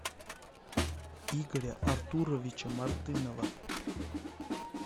игоря артуровича мартынова